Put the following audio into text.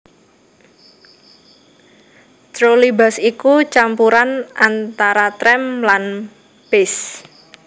Trolleybus iku campuran antara trèm lan bus